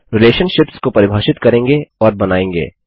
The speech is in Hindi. रिलेशलशिप्स को परिभाषित करेंगे और बनायेंगे